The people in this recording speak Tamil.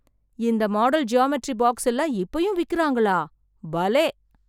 இந்த மாடல் ஜியாமெட்ரி பாக்ஸெல்லாம் இப்போயும் விக்குறாங்களா! பலே!